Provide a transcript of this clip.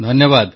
ଧନ୍ୟବାଦ